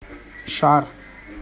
шар